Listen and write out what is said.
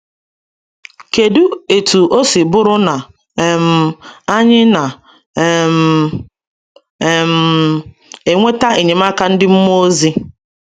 kedu etú o si bụrụ na um anyị na um - um enweta enyemaka ndị mmụọ ozi?